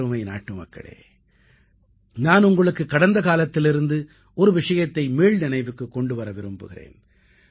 எனதருமை நாட்டுமக்களே நான் உங்களுக்கு கடந்த காலத்திலிருந்து ஒரு விஷயத்தை மீள்நினைவுக்குக் கொண்டு வர விரும்புகிறேன்